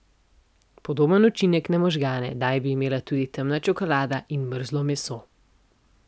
Podoben učinek na možgane naj bi imela tudi temna čokolada in mrzlo meso.